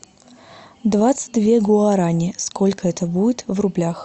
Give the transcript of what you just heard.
двадцать две гуарани сколько это будет в рублях